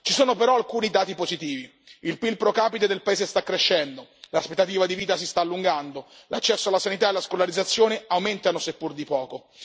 Ci sono però alcuni dati positivi il PIL pro capite del paese sta crescendo, l'aspettativa di vita si sta allungando, l'accesso alla sanità e alla scolarizzazione aumenta, seppur di poco.